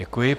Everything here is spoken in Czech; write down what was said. Děkuji.